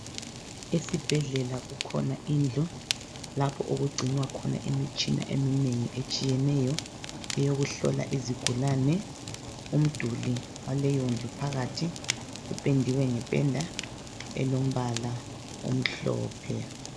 Esibhedlela kukhona indlu lapho okugcinwa khona imitshina eminengi etshiyeneyo eyokuhlola izigulane. Umduli waleyondlu phakathi upendiwe ngependa elombala omhlophe.